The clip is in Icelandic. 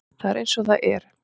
Það er eins og það er